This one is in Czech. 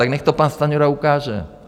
Tak nechť to pan Stanjura ukáže.